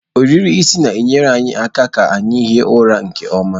Ohiri isi na-enyere anyị aka ihi ụra nke ọma.